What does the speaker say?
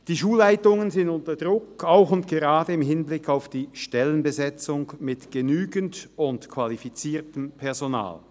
Die Schulleitungen sind unter Druck, auch und gerade im Hinblick auf die Stellenbesetzung mit genügend und qualifiziertem Personal.